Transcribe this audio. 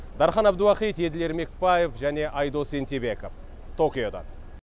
дархан әбдуахит еділ ермекбаев және айдос ентебеков токиодан